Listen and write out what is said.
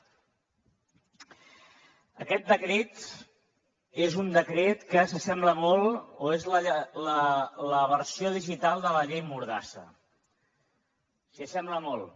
aquest decret és un decret que s’assembla molt o és la versió digital de la llei mordassa s’hi assembla molt